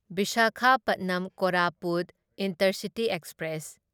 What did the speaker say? Visakhapatnam Koraput intercity express